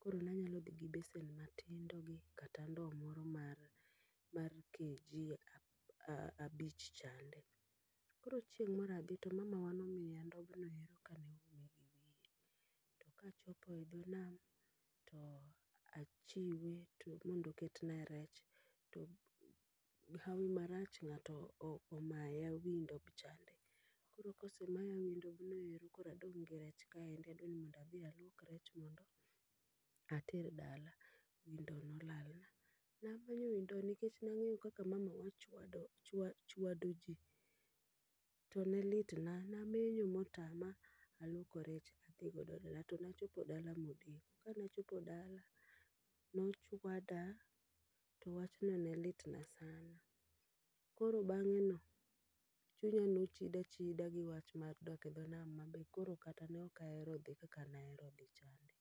Koro nanyalo dhi gi besen mathindo gi kata ndow mar kg abich chande. Koro chieng' moradhi to mamawa nomiya ndobnoero kane oum wiye. To kachope dho nam, to achiwe to mondo oketna rech. To hawi marach ng'ato o omaya wi ndobchande. Koro kosemaya wi ndobnoero koro adong' gi rech kaendi, adwa ni mondo adhi aluok rech mondo ater dala. Wi ndo nolal na. Nadhie wi ndo nikech nang'eyo kaka mamawa ochwado chwa chwado ji, to ne litna. Namenyo motama, aluoko rech adhi godo dala to nachopo dala modeko. Kanachopo dala, nochwada to wachno ne litna sana. Koro bang'e no, chunya nochida chida gi wach mar dok e dho nam ma be koro kata ne ok ahero dhi kaka nahero dhi chande.